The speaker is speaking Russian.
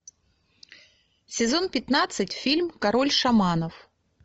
сезон пятнадцать фильм король шаманов